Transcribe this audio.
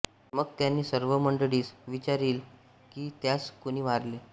मग त्याणी सर्व मंडळीस विच्यारिले कीं यास कोणी मारिले